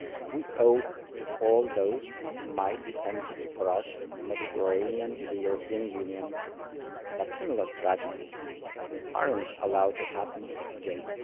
We owe it to all those who might be tempted to cross the Mediterranean to the European Union to ensure that similar tragedies are not allowed to happen again.